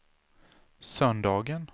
söndagen